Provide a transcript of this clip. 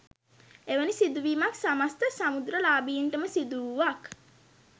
එවැනි සිදු වීමක් සමස්ත සමෘද්ධිලාභීන්ටම සිදු වූවක්